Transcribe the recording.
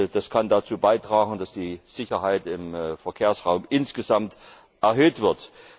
Das kann dazu beitragen, dass die Sicherheit im Verkehrsraum insgesamt erhöht wird.